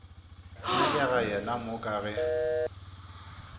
nyakega yena mo ka ge